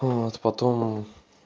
вот потом